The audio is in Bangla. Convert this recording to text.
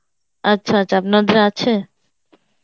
আচ্ছা আচ্ছা আপনাদের আছে?